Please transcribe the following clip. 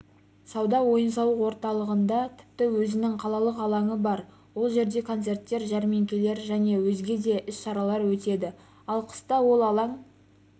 сауда ойын-сауық орталығында тіпті өзінің қалалық алаңы бар ол жерде концерттер жәрмеңкелер және өзге де іс-шаралар өтеді ал қыста ол алаң